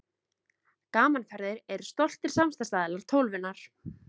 Gaman Ferðir eru stoltir samstarfsaðilar Tólfunnar.